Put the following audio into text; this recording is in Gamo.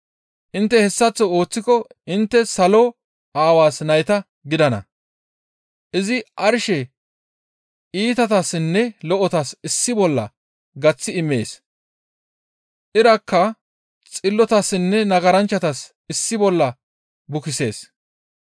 Intte hessaththo ooththiko intte salo Aawaas nayta gidana. Izi arshe iitatassinne lo7otas issi bolla gaththi immees. Irakka xillotassinne nagaranchchatas issi bolla bukisees.